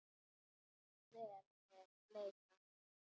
Ef vel er leitað.